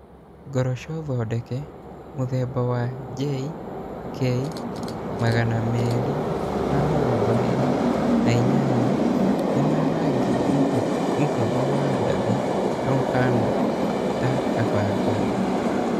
Ngoroco thondeke mũthemba wa JK228 nĩ wa rangi mũhũthũ wa ndathi na ũhaana ta kabangoho.